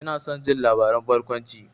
Ina son jin labaran barkwanci.